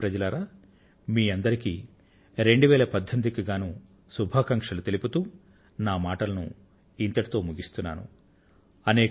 ప్రియమైన నా దేశ వాసులారా మీ అందరికీ 2018 సంవత్సర శుభాకాంక్షలు తెలియజేస్తూ నా ప్రసంగాన్ని ఇంతటితో ముగిస్తున్నాను